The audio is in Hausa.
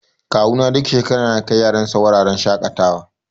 Kuwa na duk shekara yana kai yaran sa wuraren shaƙatawa.